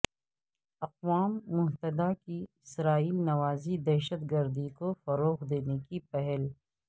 اقوام متحدہ کی اسرائیل نواز ی دہشت گردی کو فروغ دینے کی پہل